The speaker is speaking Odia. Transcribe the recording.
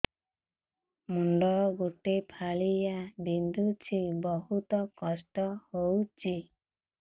ମୁଣ୍ଡ ଗୋଟେ ଫାଳିଆ ବିନ୍ଧୁଚି ବହୁତ କଷ୍ଟ ହଉଚି